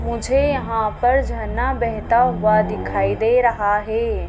मुझे यहां पर झरना बेहता हुआ दिखाई दे रहा हैं।